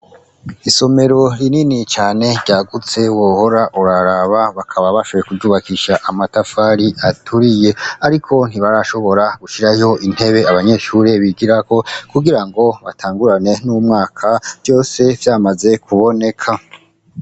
Isomero rinini cane ryagutse wohora uraraba, bakaba bashoboye kuryubakisha amatafari aturiye ariko ntibarashobora gushirayo intebe abanyeshure bigirako kugira ngo batangurane n'umwaka vyose vyamaze kuboneka.